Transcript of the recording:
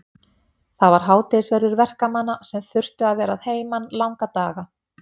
Það var hádegisverður verkamanna sem þurftu að vera að heiman langa daga.